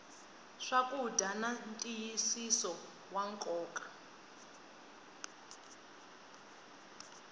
swakudya na ntiyisiso wa nkoka